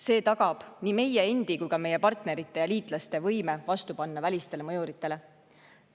See tagab nii meie endi kui ka meie partnerite ja liitlaste võime panna vastu välistele mõjuritele.